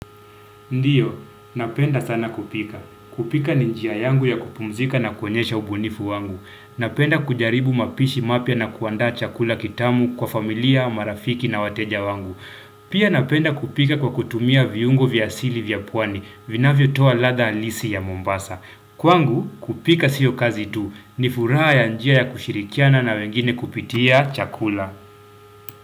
Ndiyo, napenda sana kupika. Kupika ni njia yangu ya kupumzika na kuonyesha ubunifu wangu. Napenda kujaribu mapishi mapya na kuandaa chakula kitamu kwa familia, marafiki na wateja wangu. Pia napenda kupika kwa kutumia viungo vya asili vya pwani, vinavyotoa ladha halisi ya Mombasa. Kwangu, kupika sio kazi tu, ni furaha ya njia ya kushirikiana na wengine kupitia chakula.